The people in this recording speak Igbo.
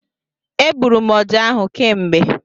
E gburu ọjá ahụ kemgbe.